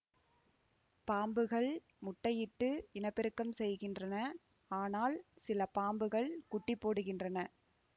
பாம்புகள் முட்டையிட்டு இனப்பெருக்கம் செய்கின்றன ஆனால் சில பாம்புகள் குட்டி போடுகின்றன